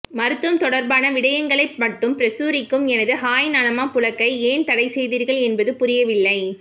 மருத்துவம் தொடர்பான விடயங்களை மட்டும் பிரசுரிக்கும் எனது ஹாய் நலமா புளக்கை ஏன் தடை செய்தீர்கள் என்பது புரியவில்லை